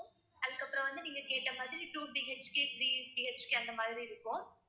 அதுக்கப்புறம் வந்து நீங்க கேட்ட மாதிரி two BHK three BHK அந்த மாதிரி இருக்கும்